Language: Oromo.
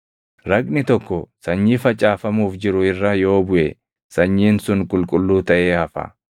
Raqni tokko sanyii facaafamuuf jiru irra yoo buʼe sanyiin sun qulqulluu taʼee hafa.